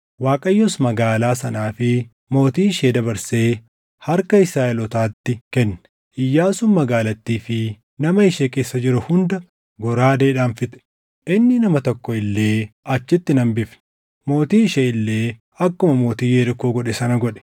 Waaqayyos magaalaa sanaa fi mootii ishee dabarsee harka Israaʼelootaatti kenne. Iyyaasuun magaalattii fi nama ishee keessa jiru hunda goraadeedhaan fixe. Inni nama tokko illee achitti hin hambifne. Mootii ishee illee akkuma mootii Yerikoo godhe sana godhe.